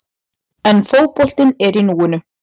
En fótboltinn er í núinu.